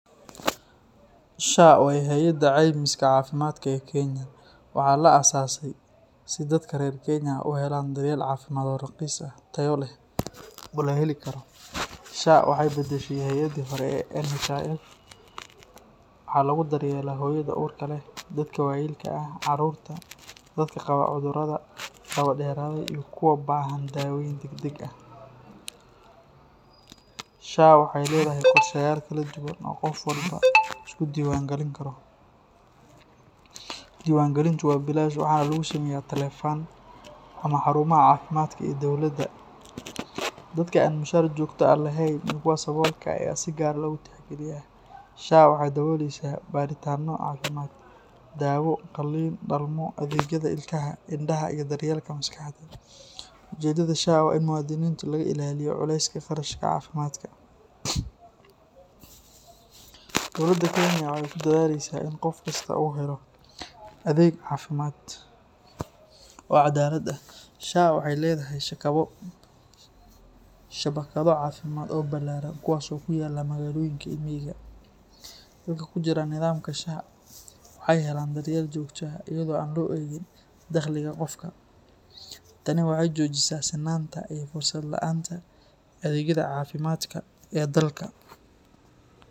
SHA waa hay’adda caymiska caafimaadka ee Kenya. Waxaa la aasaasay si dadka reer Kenya ay u helaan daryeel caafimaad oo raqiis ah, tayo leh, oo la heli karo. SHA waxay beddeshay hay’addii hore ee NHIF. Waxaa lagu daryeelaa hooyada uurka leh, dadka waayeelka ah, carruurta, dadka qaba cudurrada daba dheeraaday iyo kuwa baahan daaweyn degdeg ah. SHA waxay leedahay qorshayaal kala duwan oo qof walba uu iska diiwaangelin karo. Diiwaangelintu waa bilaash waxaana lagu sameeyaa taleefan ama xarumaha caafimaadka ee dowladda. Dadka aan mushahar joogto ah lahayn iyo kuwa saboolka ah ayaa si gaar ah loogu tixgeliyaa. SHA waxay daboolaysaa baadhitaanno caafimaad, daawo, qalliin, dhalmo, adeegyada ilkaha, indhaha, iyo daryeelka maskaxda. Ujeeddada SHA waa in muwaadiniinta laga ilaaliyo culayska kharashka caafimaadka. Dowladda Kenya waxay ku dadaalaysaa in qof kasta uu helo adeeg caafimaad oo cadaalad ah. SHA waxay leedahay shabakado caafimaad oo ballaaran kuwaas oo ku yaalla magaalooyinka iyo miyiga. Dadka ku jira nidaamka SHA waxay helaan daryeel joogto ah iyadoo aan loo eegin dakhliga qofka. Tani waxay xoojisaa sinaanta iyo fursad la’aanta adeegyada caafimaadka ee dalka.